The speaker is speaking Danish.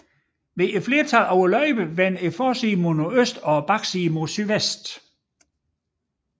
Flertallet af løjperne vender forsiden mod nordøst og bagsiden mod sydvest